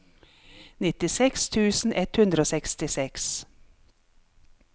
nittiseks tusen ett hundre og sekstiseks